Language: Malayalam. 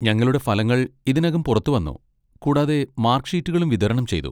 ഞങ്ങളുടെ ഫലങ്ങൾ ഇതിനകം പുറത്തുവന്നു, കൂടാതെ മാർക്ക് ഷീറ്റുകളും വിതരണം ചെയ്തു.